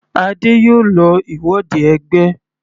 Adé yòó lọ ìwọde ẹgbẹ́.